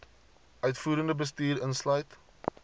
uitvoerende bestuur insluit